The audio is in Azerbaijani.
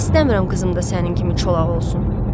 İstəmirəm qızım da sənin kimi çolaq olsun.